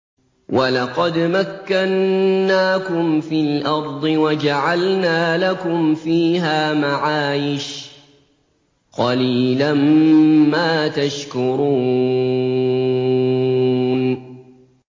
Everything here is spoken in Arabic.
وَلَقَدْ مَكَّنَّاكُمْ فِي الْأَرْضِ وَجَعَلْنَا لَكُمْ فِيهَا مَعَايِشَ ۗ قَلِيلًا مَّا تَشْكُرُونَ